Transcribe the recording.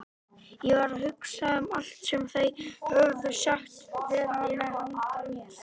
Ég var að hugsa um allt sem þeir höfðu sagst vera með handa mér.